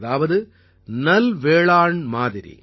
அதாவது நல்வேளாண் மாதிரி